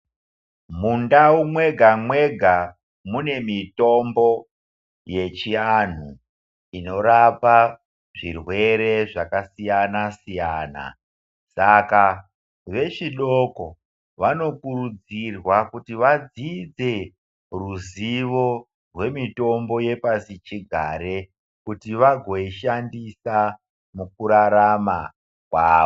Mundau mwega-mwega mune mitombo yechiantu, inorapa zvirwere zvakasiyana-siyana. Saka vechidoko vanokurudzirwa kuti vadzidze ruzivo rwemitombo yepasi chigare kuti vagoishandisa mukurarama kwavo.